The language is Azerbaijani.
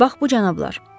Bax bu cənablar.